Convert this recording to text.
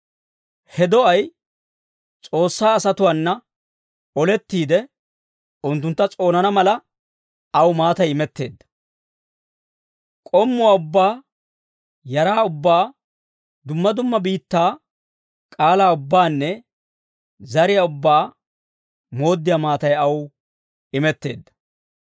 He do'ay S'oossaa asatuwaana olettiide, unttuntta s'oonana mala, aw maatay imetteedda. K'ommuwaa ubbaa, yaraa ubbaa, dumma dumma biittaa k'aalaa ubbaanne zariyaa ubbaa mooddiyaa maatay aw imetteedda.